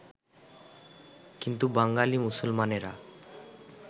কিন্তু বাঙালী মুসলমানেরা